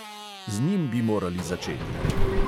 Z njim bi morali začeti!